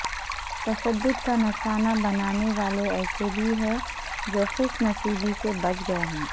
تشدد کا نشانہ بننے والے ایسے بھی ہیں جو خوش نصیبی سے بچ گئے ہیں